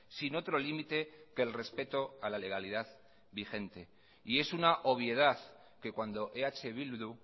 sin otro límite que el respeto a la legalidad vigente y es una obviedad que cuando eh bildu